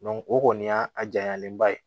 o kɔni y'a a janyalenba ye